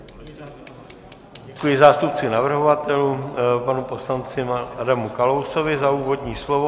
Děkuji zástupci navrhovatelů panu poslanci Adamu Kalousovi za úvodní slovo.